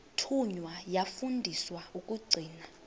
thunywa yafundiswa ukugcina